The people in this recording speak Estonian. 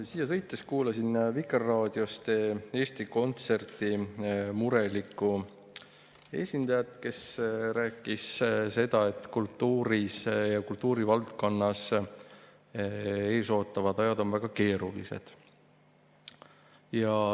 Siia sõites kuulasin Vikerraadiost Eesti Kontserdi murelikku esindajat, kes rääkis, et kultuuri ja kultuurivaldkonda ees ootavad ajad on väga keerulised.